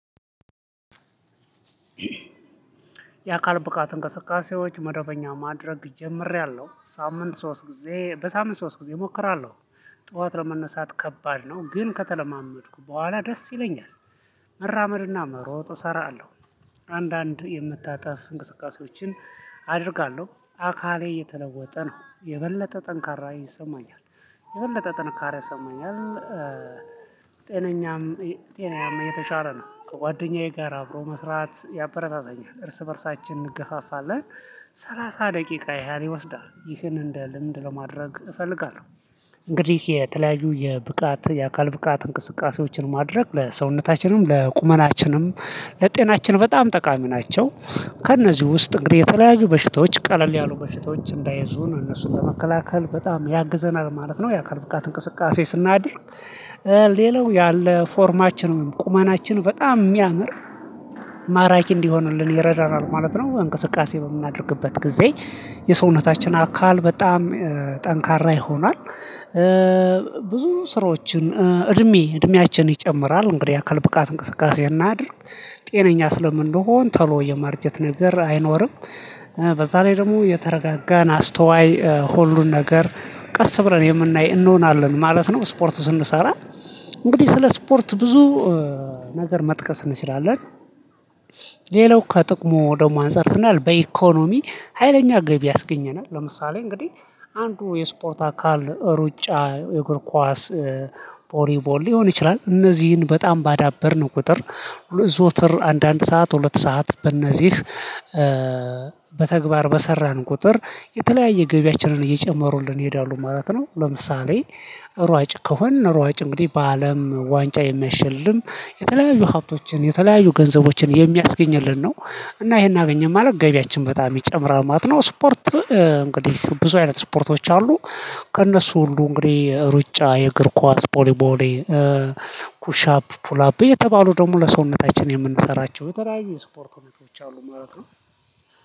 የአካል ብቃት እንቅስቃሴዎች መደበኛ ማድረግ ጀምሬያለሁ ሳምንት ሶስት ጊዜ በሳምንት ሶስት ጊዜ እሞክራለሁ ጠዋት ለመነሳት ከባድ ነው ግን ከተለማመድኩ በኋላ ደስ ይለኛል። መራመድና መሮጥ እሰራለሁ። አንዳንድ የመታጠፍ እንቅስቃሴዎችን አደርጋለሁ አካሌ እየተለወጠ ነው የበለጠ ጠንካራ ይሰማኛል የበለጠ ጥንካሬ ይሰማኛል። ጤናየም የተሻለ ነው ከጓደኛዬ ጋር አብሮ መስራት ያበረታተኛል እርስ በእርሳችን እንገፋፋለን ሰላሳ ደቂቃ ያን ይወስዳል ይህን እንደ ልምድ ለማድረግ እፈልጋለሁ። እንግዲህ የተለያዩ የብቃት የአካል ብቃት እንቅስቃሴዎችን ማድረግ ለሰውነታችንም ለቁመናችንም ለጤናችን በጣም ጠቃሚ ናቸው። ከእነዚህ ውስጥ እንግዲህ የተለያየ በሽታዎች ቀለል ያሉ በሽታዎች እንዳይዙ እነሱን በመከላከል በጣም ያግዘናል ማለት ነው። የአካል ብቃት እንቅስቃሴ ስናድርግ ሌላው ያለ ፎርማችን ወይም ቁመናችን በጣም የሚያምር ማራኪ እንዲሆንልን ይረዳናል ማለት ነው። እንቅስቃሴ በምናደርግበት ጊዜ የሰውነታችን አካል በጣም ጠንካራ ይሆናል። ብዙ ስራዎችን እድሜ እድሜያችን ይጨምራል እንግዲህ አካል ብቃት እንቅስቃሴ እናድርግ። ጤነኛ ስለምንሆን ተሎ የማርጀት ነገር አይኖርም። በዛ ላይ ደግሞ የተረጋጋን አስተዋይ ሁሉን ነገር ቀስ ብለን የምናይ እንሆናለን ማለት ነው። ስፖርት ስንሰራ እንግዲህ ስለ ስፖርት ብዙ ነገር መጥቀስ እንችላለን። ሌላው ከጥቅሙ ደግሞ አንፃር ስናይ በኢኮኖሚ ሀይለኛ ገቢ ያስገኘናል ለምሳሌ እንግዲህ አንዱ የስፖርት አካል ሩጫ የእግር ኳስ ቦሊቦል ሊሆን ይችላል እነዚህን በጣም ባዳበርነው ቁጥር ዘወትር አንድ አንድ ሰዓት ሁለት ሰዓት በእነዚህ በተግባር በሰራን ቁጥር የተለያየ ገቢያችንን እየጨመሩልን ይሄዳሉ ማለት ነው። ለምሳሌ ሯጭ ከሆንን ሯጭ እንግዲህ በአለም ዋንጫ የሚሸልም የተለያዩ ሀብቶችን የተለያዩ ገንዘቦችን የሚያስገኝልን ነው። እና ይሄን አገኘን ማለት ገቢያችን በጣም ይጨምራል ማለት ነው። ስፖርት እንግዲህ ብዙ አይነት ስፖርቶች አሉ። ከእነሱ ሁሉ እንግዲህ ሩጫ የእግር ኳስ ቦሊቦል ፑሽ አፕ ፑልአፕ የተባሉ ደግሞ ለሰውነታችን የምንሰራቸው የተለያዩ ስፖርቶች አሉ ማለት ነው